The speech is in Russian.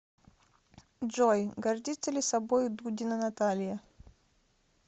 джой гордится ли собой дудина наталья